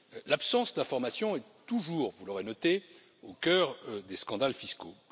L'absence d'information est toujours, vous l'aurez noté, au cœur des scandales fiscaux.